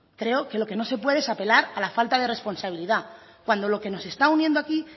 creo que lo que no se puede es apelar a la falta de responsabilidad cuando lo que nos está uniendo aquí